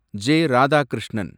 J. Radhakrishnan